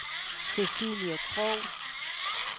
Cecilie Krogh